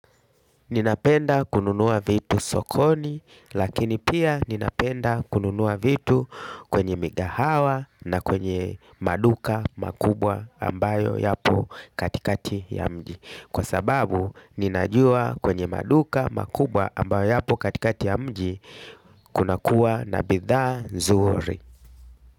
Ninapenda kununuwa vitu sokoni lakini pia ninapenda kununuwa vitu kwenye migahawa na kwenye maduka makubwa ambayo yapo katikati ya mji. Kwa sababu ninajua kwenye maduka makubwa ambayo yapo katikati ya mji kuna kuwa na bidhaa nzuri.